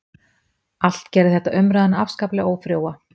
Allt gerði þetta umræðuna afskaplega ófrjóa.